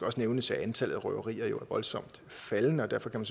også nævnes at antallet af røverier jo er voldsomt faldende og derfor kan